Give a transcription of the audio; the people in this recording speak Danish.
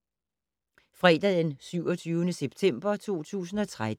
Fredag d. 27. september 2013